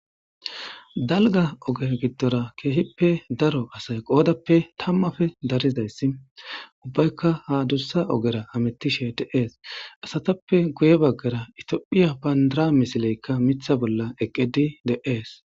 Dalga oge gidora kehipe daro asay qodape tamape darizaysi ubayika ha adusa ogera hametishe de'es asatape guye bagara itopia bandira missleka mitha bola eqidi de'es.